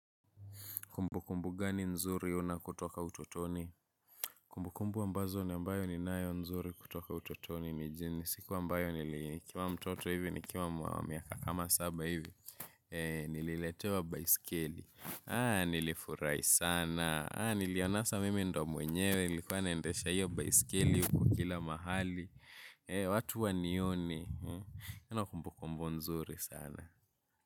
Kumbukumbu gani nzuri unayo kutoka utotoni? Kumbukumbu ambazo ni ambayo ninayo nzuri kutoka utotoni ni jini. Siku ambayo nili nikiwa mtoto hivi nikiwa miaka kama saba hivi. Eee nililetewa baiskeli. Haa nilifurai sana. Haa nilianasa mimi ndio mwenyewe nilikuwa naendesha hiyo baisikeli ilikuwa kila mahali. Eee watu wanioni. Una kumbukumbu nzuri sana.